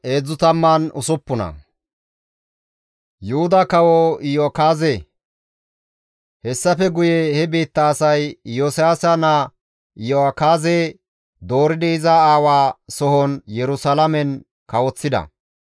Hessafe guye he biitta asay Iyosiyaasa naa Iyo7akaaze dooridi iza aawaa sohon Yerusalaamen kawoththida.